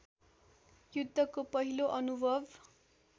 युद्धको पहिलो अनुभव